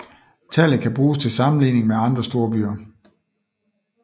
Tallet kan bruges til sammenligning med andre storbyer